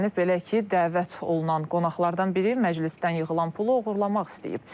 Belə ki, dəvət olunan qonaqlardan biri məclisdən yığılan pulu oğurlamaq istəyib.